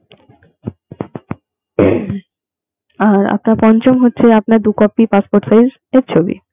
আর আপনার পঞ্চম হচ্ছে আপনার দু copy passport size এর ছবি.